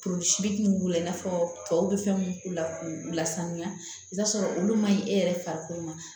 Tosi ninnu k'u la i n'a fɔ tɔw bɛ fɛn minnu k'u la k'u lasanuya i t'a sɔrɔ olu ma ɲi e yɛrɛ farikolo ma